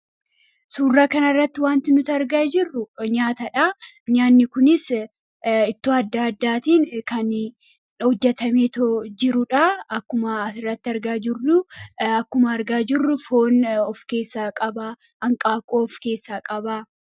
Suuraa kana irratti wanti nuti argaa jirru nyaatadha. Nyaanni kunis ittoo adda addaa irraa kan hojjatamee jiruudha kan as irratti argaa jirru foon of keessa qaba, hanqaaquu yookiin buuphaa of keessaa qaba.